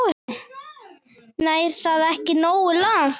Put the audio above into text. Nær það ekki nógu langt?